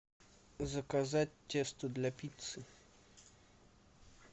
заказать тесто для пиццы